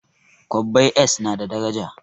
Kwabbai s na da daraja